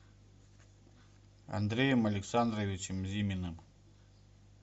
андреем александровичем зиминым